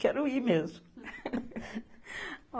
Quero ir mesmo.